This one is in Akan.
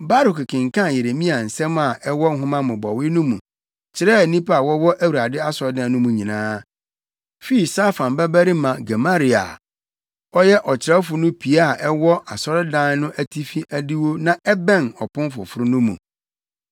Baruk kenkan Yeremia nsɛm a ɛwɔ nhoma mmobɔwee no mu kyerɛɛ nnipa a wɔwɔ Awurade asɔredan no mu nyinaa; fii Safan babarima Gemaria a ɔyɛ ɔkyerɛwfo no pia a ɛwɔ asɔredan no atifi adiwo na ɛbɛn Ɔpon Foforo no mu.